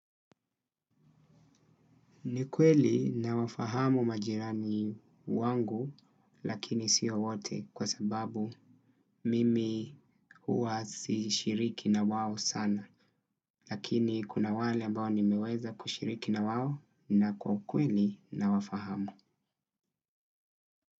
Nikweli nawafahamu majirani wangu lakini siyo wote kwa sababu mimi huwa sishiriki na wao sana lakini kuna wale mbao ni meweza kushiriki na wao na kwa kweli nawafahamu.